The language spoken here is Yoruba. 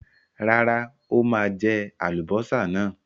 Rárá, ó máa jẹ àlùbọ́sà náà.